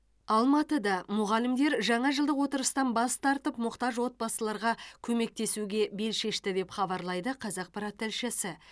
алматыда мұғалімдер жаңа жылдық отырыстан бас тартып мұқтаж отбасыларға көмектесуге бел шешті деп хабарлайды қазақпарат тілшісі